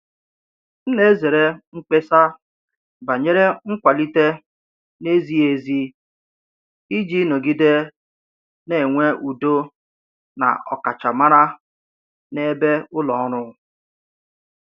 M na-ezere mkpesa banyere nkwalite na-ezighị ezi iji nọgide na-enwe udo na ọkachamara na-ebe ulo ọrụ.